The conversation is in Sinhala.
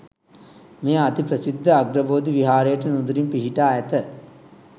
මෙය අති ප්‍රසිද්ධ අග්‍රබෝධි විහාරයට නුදුරින් පිහිටා ඇත.